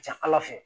Ca ala fɛ